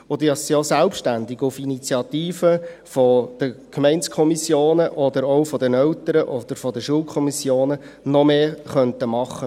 Diese sind auch selbstständig tätig auf Initiative der Gemeindekommissionen, der Eltern oder auch der Schulkommissionen, die noch mehr machen könnten.